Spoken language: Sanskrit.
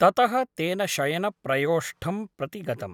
ततः तेन शयनप्रयोष्ठं प्रति गतम् ।